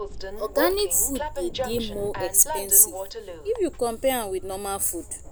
um di government fit help if dem um chook mouth for inside local um food production